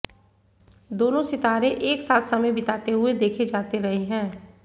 दोनों सितारे एक साथ समय बिताते हुए देखे जाते रहे हैं